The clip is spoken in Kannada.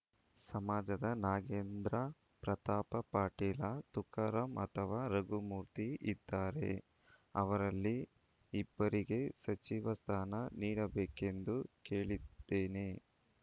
ಸಮಾಜದ ನಾಗೇಂದ್ರ ಪ್ರತಾಪ ಪಾಟೀಲ ತುಕಾರಾಂ ಅಥವಾ ರಘುಮೂರ್ತಿ ಇದ್ದಾರೆ ಅವರಲ್ಲಿ ಇಬ್ಬರಿಗೆ ಸಚಿವ ಸ್ಥಾನ ನೀಡಬೇಕೆಂದು ಕೇಳಿದ್ದೇನೆ